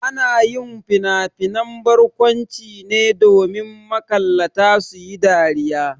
Ana yin finafinan barkwanci ne domin makallata su yi dariya.